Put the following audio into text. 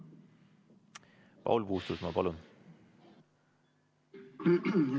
Paul Puustusmaa, palun!